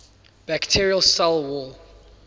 bacterial cell wall